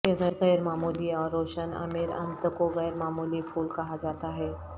ایک غیر معمولی اور روشن امیرانتھ کو غیر معمولی پھول کہا جاتا ہے